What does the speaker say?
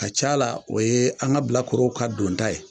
Ka c'a la o ye an ŋa bilakorow ka donta ye